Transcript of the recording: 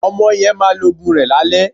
Ọmọ yẹn máa lo òògùn rẹ̀ lálẹ́